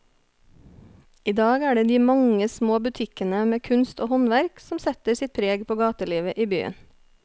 I dag er det de mange små butikkene med kunst og håndverk som setter sitt preg på gatelivet i byen.